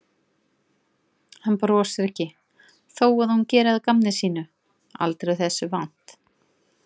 Hann brosir ekki þó að hún geri að gamni sínu, aldrei þessu vant.